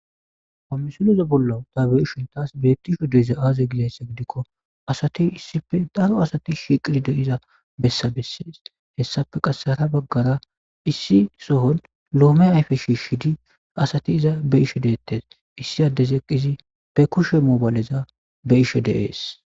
Homisuleza bollau ta beishon taas bettisho deiza aaze gilayssa gidikko asati issipe daro asati shiqidi deiza bessa bessees hessafe qasseara baggara issi sohon loome ayfe shiishidi asati iza be ishe deettes issi addez eqqizi be kushe moobayleza be ishe deees.